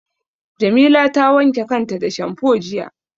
Jamila ta wanke kanta da shamfo jiya.